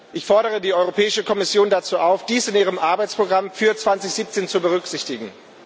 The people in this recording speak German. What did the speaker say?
Ich fordere die Europäische Kommission dazu auf, dies in ihrem Arbeitsprogramm für 2017 zu berücksichtigen.